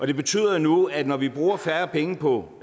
det betyder jo nu at når vi bruger færre penge på